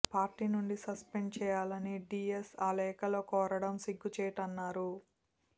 party నుంచి suspend చేయాలని D S ఆ లేఖలో కోరడం సిగ్గుచేటన్నారు